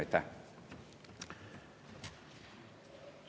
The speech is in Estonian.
Aitäh!